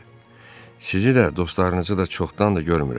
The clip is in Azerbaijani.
Sizi də, dostlarınızı da çoxdandır görmürəm.